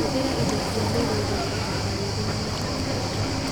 Hũthĩra indo cia mĩgũnda ta tangawithi na mũtararĩki